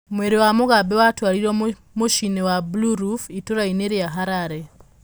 Mwĩrĩ wa Mugabe watwarirwo mũciĩ-inĩ wa 'Blue Roof' itũũra-inĩ rĩa Harare.